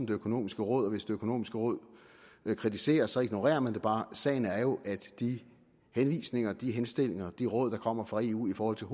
det økonomiske råd og hvis det økonomiske råd kritiserer det så ignorerer man det bare sagen er jo at de henvisninger de henstillinger de råd der kommer fra eu i forhold til